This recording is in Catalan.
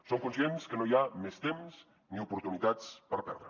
som conscients que no hi ha més temps ni oportunitats per perdre